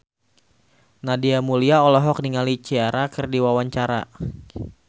Nadia Mulya olohok ningali Ciara keur diwawancara